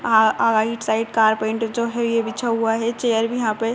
आइड side carpenter जो है ये बिछा हुआ है। चेयर भी यहाँ पे है